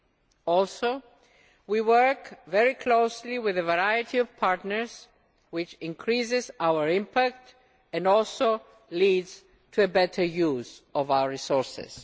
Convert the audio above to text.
We also work very closely with a variety of partners, which increases our impact and also leads to a better use of our resources.